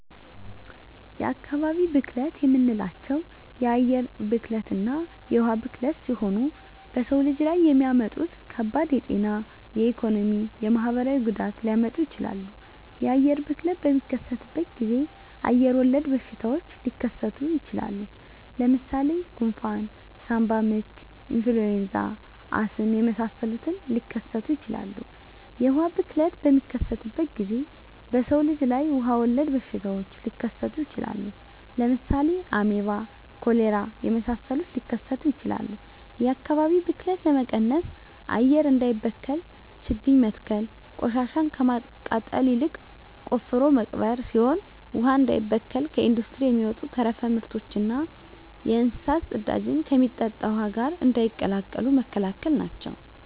የአካባቢ ብክለት የምንላቸው የአየር ብክለትና የውሀ ብክለት ሲሆኑ በሰው ልጅ ላይ የሚያመጡት ከባድ የጤና የኢኮኖሚ የማህበራዊ ጉዳት ሊያመጡ ይችላሉ። የአየር ብክለት በሚከሰትበት ጊዜ አየር ወለድ በሽታዎች ሊከሰቱ ይችላል። ለምሳሌ ጉንፍን ሳምባምች ኢንፍሉዌንዛ አስም የመሳሰሉትን ሊከሰቱ ይችላሉ። የውሀ ብክለት በሚከሰትበት ጊዜ በሰው ልጅ ላይ ውሀ ወለድ በሽታዎች ሊከሰቱ ይችላሉ። ለምሳሌ አሜባ ኮሌራ የመሳሰሉት ሊከሰቱ ይችላሉ። የአካባቢ ብክለት ለመቀነስ አየር እንዳይበከል ችግኝ መትከል ቆሻሻን ከማቃጠል ይልቅ ቆፍሮ መቅበር ሲሆን ውሀ እንዳይበከል ከኢንዱስትሪ የሚወጡ ተረፈ ምርቶችና የእንስሳት ፅዳጅን ከሚጠጣ ውሀ ጋር እንዳይቀላቀሉ መከላከል ናቸው።